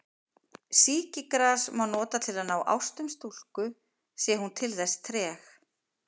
Sýkisgras má nota til að ná ástum stúlku sé hún til þess treg.